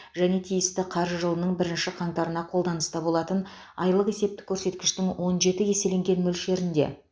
және тиісті қаржы жылының бірінші қаңтарына қолданыста болатын айлық есептік көрсеткіштің он жеті еселенген мөлшерінде